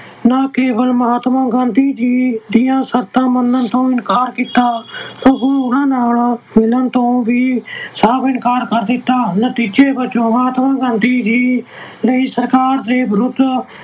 ਨਾ ਕੇਵਲ ਮਹਾਤਮਾ ਗਾਂਧੀ ਜੀ ਦੀਆਂ ਸ਼ਰਤਾਂ ਮੰਨਣ ਤੋਂ ਇਨਕਾਰ ਕੀਤਾ, ਸਗੋਂ ਉਹਨਾਂ ਨਾਲ ਮਿਲਣ ਤੋਂ ਵੀ ਸਾਫ ਇਨਕਾਰ ਕਰ ਦਿੱਤਾ। ਨਤੀਜੇ ਵਜੋਂ ਮਹਾਤਮਾ ਗਾਂਧੀ ਜੀ ਸਰਕਾਰ ਦੇ ਵਿਰੁੱਧ